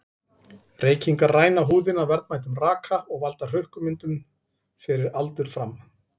Reykingar ræna húðina verðmætum raka og valda hrukkumyndun fyrir aldur fram.